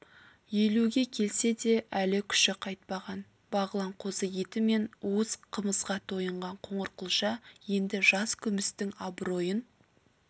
елуге келсе де әлі күші қайтпаған бағлан қозы еті мен уыз қымызға тойынған қоңырқұлжа енді жас күмістің абыройын